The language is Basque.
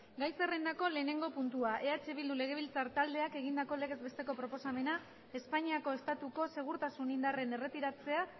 gai zerrendako lehenengo puntua eh bildu legebiltzar taldeak egindako legez besteko proposamena espainiako estatuko segurtasun indarren erretiratzea